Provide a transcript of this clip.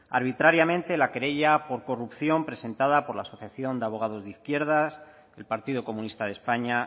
arbitrariamente la querella por corrupción presentada por la asociación de abogados de izquierdas el partido comunista de españa